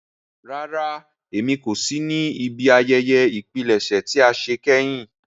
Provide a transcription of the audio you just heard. Rárá, Émi ko si ni ibi àyẹyẹ ìpilẹṣẹ tia ṣe kẹhin.